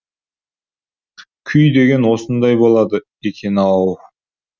күй деген осындай болады екен ау